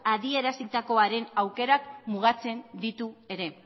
adierazitakoaren aukerak mugatzen ditu ere